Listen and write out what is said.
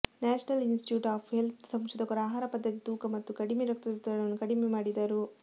national institute of ಹೆಲ್ತ್ನ ಸಂಶೋಧಕರು ಆಹಾರ ಪದ್ಧತಿ ತೂಕ ಮತ್ತು ಕಡಿಮೆ ರಕ್ತದೊತ್ತಡವನ್ನು ಕಡಿಮೆ ಮಾಡಿದರು